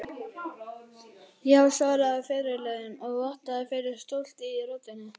Já, svaraði fyrirliðinn og vottaði fyrir stolti í röddinni.